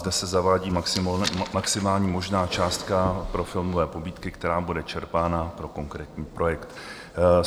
Zde se zavádí maximální možná částka pro filmové pobídky, která bude čerpána pro konkrétní projekt.